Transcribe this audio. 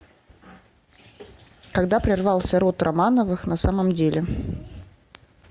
когда прервался род романовых на самом деле